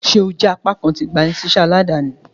Ṣe o jẹ apakan ti igbanisiṣẹ aladani?